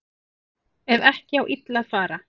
Ef ekki á illa að fara